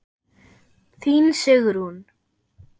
Þín, Sigrún.